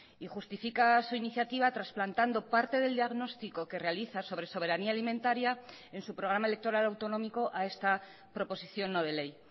y justifica su iniciativa trasplantando parte del diagnóstico que realiza sobre soberanía alimentaria en su programa electoral autonómico a esta proposición no de ley